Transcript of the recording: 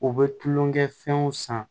U bɛ tulonkɛ fɛnw san